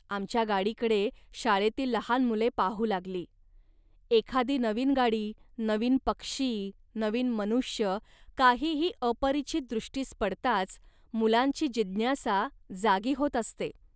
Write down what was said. आमच्या गाडीकडे शाळेतील लहान मुले पाहू लागली. एखादी नवीन गाडी, नवीन पक्षी, नवीन मनुष्य काहीही अपरिचित दृष्टीस पडताच मुलांची जिज्ञासा जागी होत असते